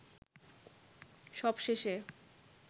সবশেষে